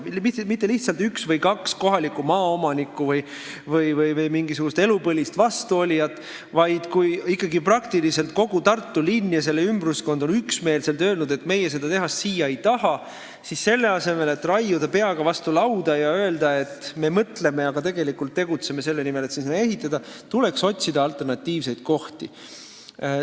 Ja mitte lihtsalt üks või kaks kohalikku maaomanikku või mingisugust elupõlist vastuolijat, vaid kui ikkagi praktiliselt kogu Tartu linn ja selle ümbruskond on üksmeelselt öelnud, et nemad seda tehast sinna ei taha, siis selle asemel, et raiuda peaga vastu lauda ja öelda, et me mõtleme, aga tegelikult tegutsetakse selle nimel, et see sinna ehitada, tuleks otsida alternatiivseid kohti.